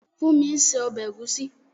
Fúnmi ń se ọbẹ̀ ẹ̀gúsí